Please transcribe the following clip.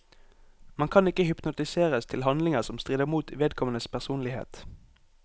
Man kan ikke hypnotiseres til handlinger som strider mot vedkommendes personlighet.